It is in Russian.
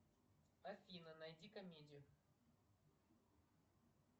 афина найди комедию